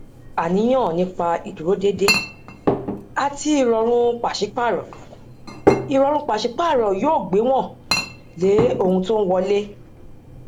àníyàn nípa ìdúródédé àti ìrọrùn pàsípààrọ ìrọrùn pàsípààrọ yóò gbéwòn lé ohun tó ń wọlé